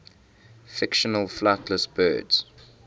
fictional flightless birds